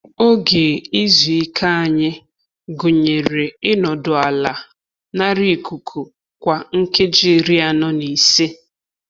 Oge izu ike anyị gụnyere i nọdụ ala nara ikuku kwa nkeji iri anọ na ise.